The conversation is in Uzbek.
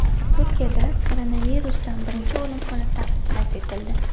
Turkiyada koronavirusdan birinchi o‘lim holati qayd etildi.